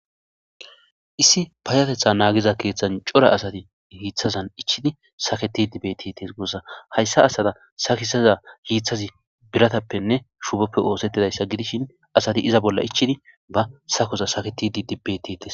Issi payatetha nagida kethan asati hithazan ichiza saketidi betetes hayisa asata sakisida hithazi biratapenne shuboppe osetizayisa gidishin asati iza bolla ichid ba sakoza saketidi betetes